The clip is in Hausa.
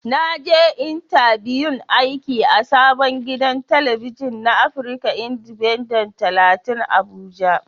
Na je intabiyun aiki a sabon gidan talabijin na afrika indifenden talatin abuja.